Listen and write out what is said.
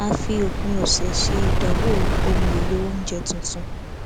a fi òpin ọsẹ ṣe ìdánwò ohun èlò oúnjẹ tuntun